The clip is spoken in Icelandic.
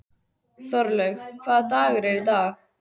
Þorlaug, hvaða dagur er í dag?